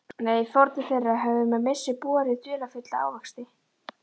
Nei, fórnir þeirra höfðu með vissu borið dularfulla ávexti.